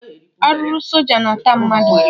Arụrụ soja na ata mmadụ